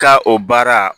Ka o baara